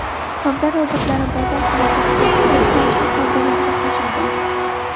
Savdo robotlari bozor harakatiga bog‘liq ravishda savdolarga qo‘shilgan.